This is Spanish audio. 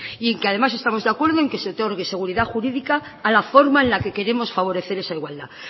y en que además estamos de acuerdo en que se otorgue seguridad jurídica a la forma en la que queremos favorecer esa igualdad